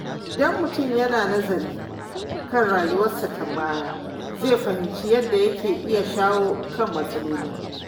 Idan mutum yana nazari kan rayuwarsa ta baya, zai fahimci yadda yake iya shawo kan matsaloli.